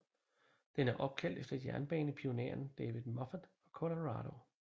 Den er opkaldt efter jernbanepionæren David Moffat fra Colorado